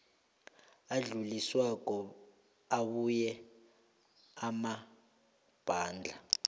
adluliswako abuya emabandla